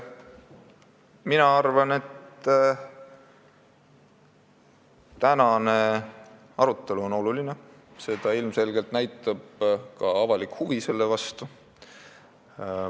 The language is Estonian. Mina arvan, et tänane arutelu on oluline – seda näitab ilmselgelt ka avalik huvi selle vastu.